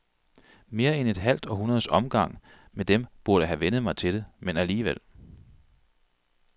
Mere end et halvt århundredes omgang med dem burde have vænnet mig til det, men alligevel.